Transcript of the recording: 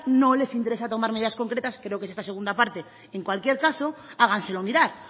no les interesa tomar medidas concretas creo que es esta segunda parte en cualquier caso háganselo mirar